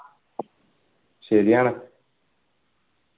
ശരിയാണ്